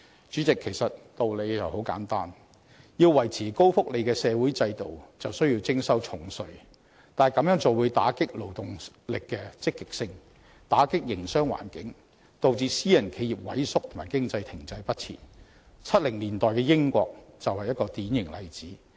主席，其實道理很簡單，要維持高福利的社會制度，就需要徵收重稅，但這樣會打擊勞動力積極性和影響營商環境，導致私人企業萎縮和經濟停滯不前 ，1970 年代的英國就是一個典型例子。